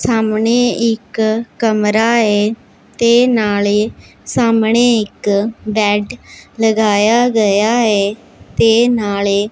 ਸਾਹਮਣੇ ਇੱਕ ਕਮਰਾ ਹੈ ਤੇ ਨਾਲੇ ਸਾਹਮਣੇ ਇੱਕ ਬੇਡ ਲਗਾਇਆ ਗਯਾ ਹੈ ਤੇ ਨਾਲੇ--